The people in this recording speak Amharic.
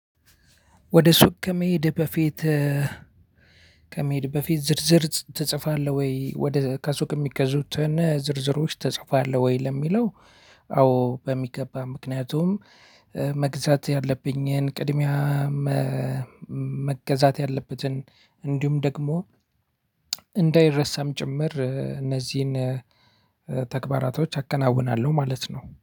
ወደ ሱቅ ከመሄድ በፊት ከመሄድ በፊት ዝርዝር ትጽፋለህ ወይ ወደ ከሱቅ የሚገዙትን ዝርዝሮች ትጽፋለህ ወይ ለሚለው? አዎ በሚገባ ምክንያቱም መግዛት ያለብኝን ቅድሚያ። መገዛት ያለበትን እንዲሁም ደግሞ እንዳይረሳም ጭምር እነዚህን ተግባራቶች አከናውናለሁ ማለት ነው